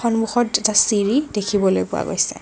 সন্মুখত এটা চিৰি দেখিবলৈ পোৱা গৈছে।